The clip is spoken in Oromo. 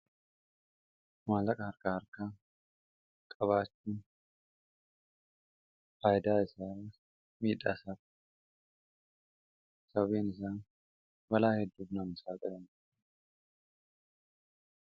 maallaqa harka arkaa qabaachi faaydaa isaa miidhaasa sabeenisaa balaa heddufnaam isaa qiram